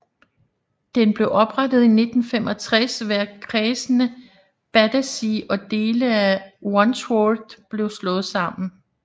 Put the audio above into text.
Den blev oprettet i 1965 ved at kredsene Battersea og dele af Wandsworth blev slået sammen